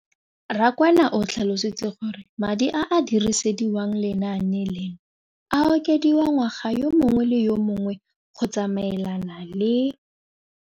Rakwena o tlhalositse gore madi a a dirisediwang lenaane leno a okediwa ngwaga yo mongwe le yo mongwe go tsamaelana le